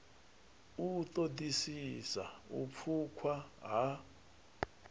u ṱoḓisisa u pfukwa ha